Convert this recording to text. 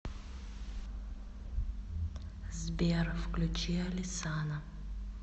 сбер включи алесана